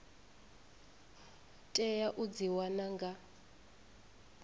tea u dzi wana nga